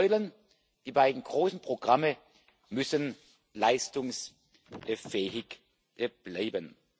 Die beiden Säulen, die beiden großen Programme müssen leistungsfähig bleiben.